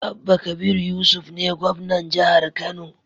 Abba kabir yusuf ne gwamnan jahar kano